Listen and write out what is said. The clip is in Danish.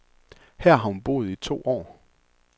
Her har hun boet i to år.